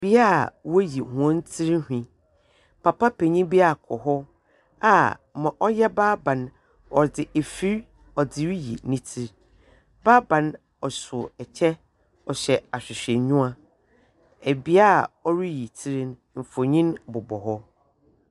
Bea a woyi hɔn tsirnhwi. Papa penyin bi akɔ hɔ a ma ɔyɛ barbbar no, ɔdze efir ɔdze riyi ne tsir. Barbar no ɔso kyɛ, ɔhyɛ ahwehwɛnyiwa. Bea a ɔreyi tsir no, mfonyim bobɔ hɔ.